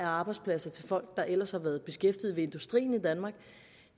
arbejdspladser til folk der ellers har været beskæftiget ved industrien